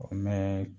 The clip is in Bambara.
O mɛn